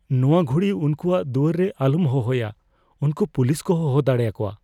ᱱᱚᱶᱟ ᱜᱷᱩᱲᱤ ᱩᱱᱠᱩᱣᱟᱜ ᱫᱩᱣᱟᱹᱨ ᱨᱮ ᱟᱞᱚᱢ ᱦᱚᱦᱚᱭᱟ ᱾ ᱩᱱᱠᱩ ᱯᱩᱞᱤᱥ ᱠᱚ ᱦᱚᱦᱚ ᱫᱟᱲᱮ ᱟᱠᱚᱣᱟ ᱾